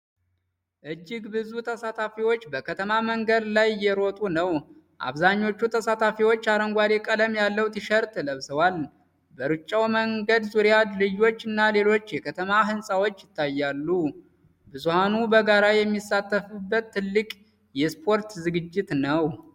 እጅግ ብዙ ተሳታፊዎች በከተማ መንገድ ላይ እየሮጡ ነው። አብዛኞቹ ተሳታፊዎች አረንጓዴ ቀለም ያለው ቲሸርት ለብሰዋል። በሩጫው መንገድ ዙሪያ ድልድዮች እና ሌሎች የከተማ ሕንፃዎች ይታያሉ። ብዙሃኑ በጋራ የሚሳተፉበት ትልቅ የስፖርት ዝግጅት ነው።